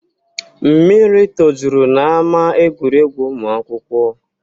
Mmiri tojuru n'ama egwuregwu ụmụ akwụkwọ